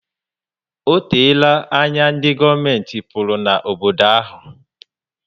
O teela anya ndi govumenti pụrụ na obodo ahu